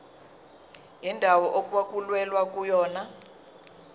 indawo okwakulwelwa kuyona